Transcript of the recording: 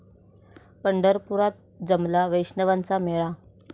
पंढरपुरात जमला वैष्णवांचा मेळा